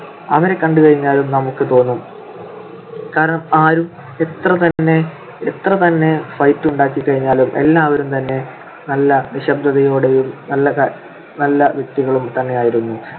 അവരെ കണ്ടുകഴിഞ്ഞാൽ നമുക്ക് തോന്നും കാരണം ആരും എത്ര തന്നെ എത്ര തന്നെ fight ഉണ്ടാക്കിക്കഴിഞ്ഞാലും എല്ലാവരും തന്നെ നല്ല നിശ്ശബ്ദതയോടെയും നല്ല വ്യക്തികളും തന്നെയായിരുന്നു.